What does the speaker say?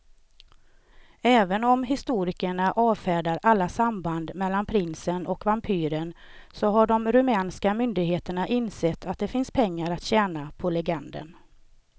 Även om historikerna avfärdar alla samband mellan prinsen och vampyren så har de rumänska myndigheterna insett att det finns pengar att tjäna på legenden.